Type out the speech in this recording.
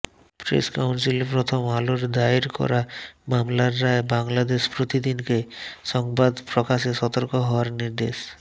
press কাউন্সিলে প্রথম আলোর দায়ের করা মামলার রায় বাংলাদেশ প্রতিদিনকে সংবাদ প্রকাশে সতর্ক হওয়ার নির্দেশ